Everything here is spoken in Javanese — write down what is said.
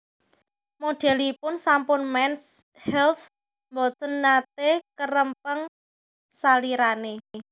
Modelipun sampul Mens Health mboten nate kerempeng salirane